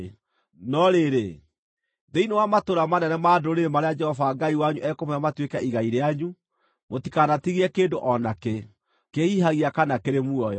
No rĩrĩ, thĩinĩ wa matũũra manene ma ndũrĩrĩ marĩa Jehova Ngai wanyu ekũmũhe matuĩke igai rĩanyu, mũtikanatigie kĩndũ o nakĩ, kĩhihagia kana kĩrĩ muoyo.